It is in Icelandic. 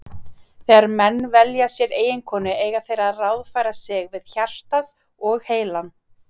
Þegar menn velja sér eiginkonu eiga þeir að ráðfæra sig við hjartað og heilann.